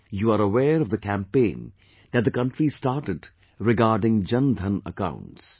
You are aware of the campaign that the country started regarding Jandhan accounts